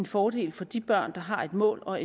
fordel for de børn der har et mål og